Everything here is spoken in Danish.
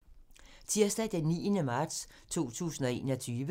Tirsdag d. 9. marts 2021